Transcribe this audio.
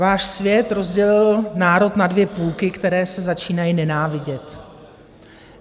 Váš svět rozdělil národ na dvě půlky, které se začínají nenávidět.